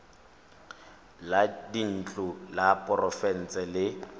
la dintlo la porofense le